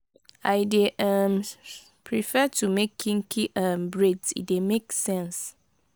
i dey um prefer to make kinky um braids e dey make sense.